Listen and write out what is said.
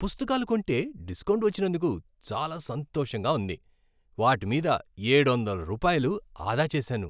పుస్తకాలు కొంటే డిస్కౌంట్ వచ్చినందుకు చాలా సంతోషంగా ఉంది. వాటి మీద ఏడొందల రూపాయలు ఆదా చేశాను!